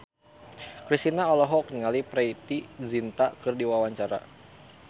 Kristina olohok ningali Preity Zinta keur diwawancara